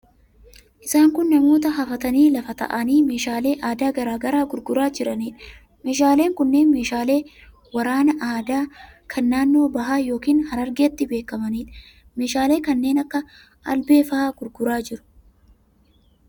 Isaan kun namoota hafatanii lafa taa'anii meeshaalee aadaa garaa garaa gurguraa jiraniidha. Meeshaaleen kunneen meeshaalee waraanaa aadaa, kan naannoo bahaa yookiin Harargeetti beekamaniidha. Meeshaalee kanneen akka albee faa gurguraa jiru.